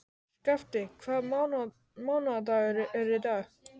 Skafti, hvaða mánaðardagur er í dag?